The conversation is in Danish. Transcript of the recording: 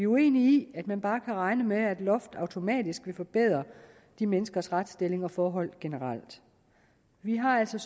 uenige i at man bare kan regne med at et loft automatisk vil forbedre de menneskers retsstilling og forhold generelt vi har altså